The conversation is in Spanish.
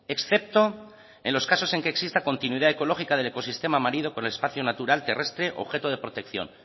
excepto en los casos en que exista continuidad ecológica del ecosistema marino por el espacio natural terrestre objeto de protección